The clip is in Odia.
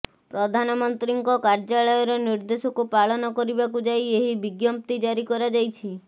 ପ୍ରଧାନମନ୍ତ୍ରୀଙ୍କ କାର୍ଯ୍ୟାଳୟର ନିର୍ଦେଶକୁ ପାଳନ କରିବାକୁ ଯାଇ ଏହି ବିଜ୍ଞପ୍ତି ଜାରି କରାଯାଇଛି